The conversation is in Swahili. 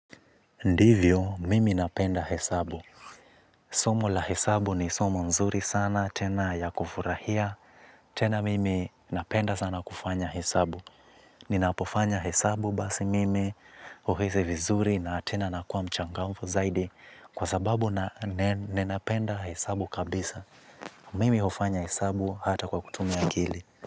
Ndivyo, mimi napenda hesabu. Somo la hesabu ni somo nzuri sana, tena ya kufurahia, tena mimi napenda sana kufanya hesabu. Ninapofanya hesabu basi mimi, huhisi vizuri na tena nakuwa mchangmfua zaidi kwa sababu na ninapenda hesabu kabisa. Mimi hufanya hesabu hata kwa kutumia akili.